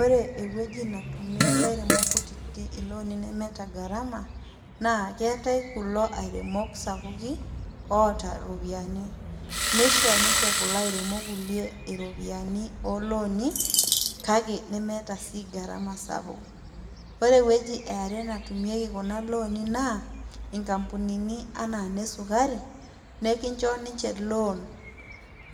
Ore ewueji natumie ilairemok kutitik ilooni nemeeta garama naa keetae kulo airemok sapukin oota iropiyiani , nisho ninche kulo kulie airemok iropiyiani olooni kake nemeeta sii garama sapuk . Ore ewueji eare natumieki kuna looni naa inkampunini anaa inesukari nekincho ninche loan